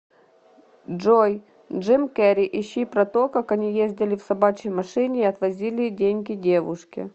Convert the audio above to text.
джой джим керри ищи про то как они ездили в собачьей машине и отвозили деньги девушке